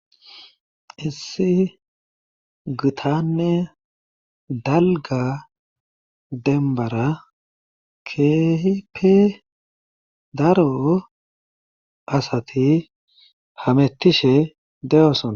Issi gitanne dalgga dembbara keehippe daro asati hametishe de'osona.